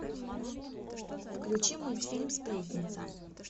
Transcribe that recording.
включи мультфильм сплетница